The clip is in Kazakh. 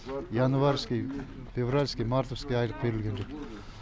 январьский февральский мартовский айлық берілген жоқ